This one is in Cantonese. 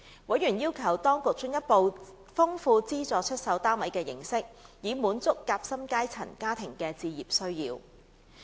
委員要求當局進一步豐富資助出售單位的形式，以滿足"夾心階層"家庭的置業需要。